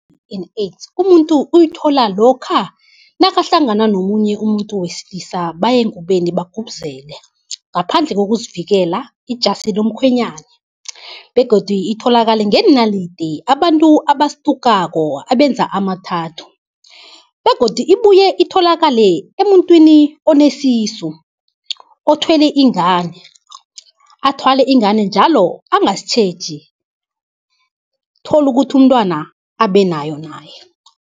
I-H_I_V and AIDS umuntu uyithola lokha nakahlangana nomunye umuntu wesilisa baye engubeni bagubuzele, ngaphandle kokuzivikela ijasi lomkhwenyana begodu itholakale ngeenalidi abantu abastukako abenza ama-tattoo. Begodu ibuye itholakale emntwini onesisu othwele ingane athwale ingane njalo angasitjheji, tholukuthi umntwana abe nayo naye.